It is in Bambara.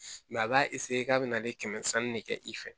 a b'a k'a bɛna ne kɛmɛ sanni de kɛ i fɛ